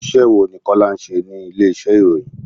Iṣẹ́ wo ni Kọ́lá ń ṣe ní ilé ìṣe ìròyìn?